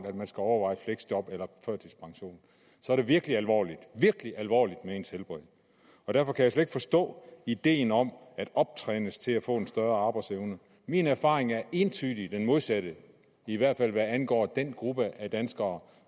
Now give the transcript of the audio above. at man skal overveje fleksjob eller førtidspension så er det virkelig alvorligt virkelig alvorligt med ens helbred derfor kan jeg slet ikke forstå ideen om at optrænes til at få en større arbejdsevne min erfaring er entydigt den modsatte i hvert fald hvad angår den gruppe af danskere